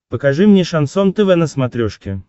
покажи мне шансон тв на смотрешке